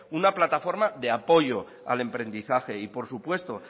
una plataforma de apoyo al emprendizaje y por supuesto